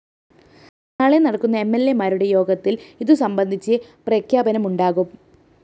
നാളെ നടക്കുന്ന എംഎല്‍എമാരുടെ യോഗത്തില്‍ ഇതു സംബന്ധിച്ച പ്രഖ്യാപനമുണ്ടാകും